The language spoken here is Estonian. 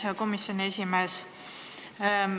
Hea komisjoni esimees!